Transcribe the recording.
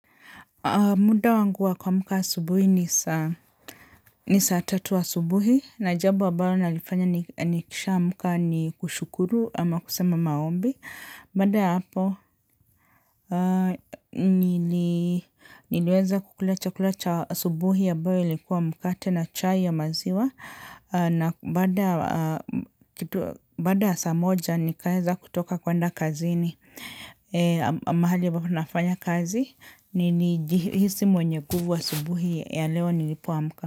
Muda wanguwa kuamka asubuhi ni saa tatu asubuhi na jambo ambalo nalifanya nikisha amka ni kushukuru ama kusema maombi. BBada ya hapo niliweza kukula chakula cha asubuhi ambayo likuwa mkate na chai ya maziwa. Na baada saa moja nikaweza kutoka kwenda kazi ni mahali ambapo na nafanya kazi nilijihisi mwenye nguvu asubuhi ya leo nilipoamka.